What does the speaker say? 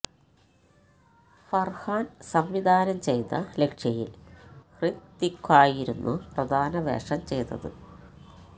ഫര്ഹാന് സംവിധാനം ചെയ്ത ലക്ഷ്യയില് ഹ്യത്വിക്കായിരുന്നു പ്രധാന വേഷം ചെയ്തത്